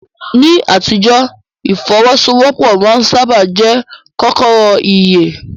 Ní àtijọ́, ìfọ́wọ́sọwọ́pọ̀ máa ń sáábà jẹ́ kọ́kọ́rọ́ ìyè.